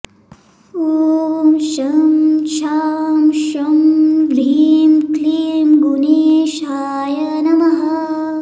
ॐ शं शां षं ह्रीं क्लीं गुणेशाय नमः